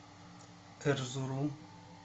эрзурум